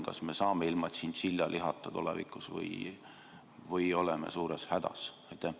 Kas me saame ilma tšintšiljalihata tulevikus hakkama või oleme suures hädas?